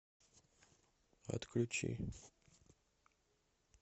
отключи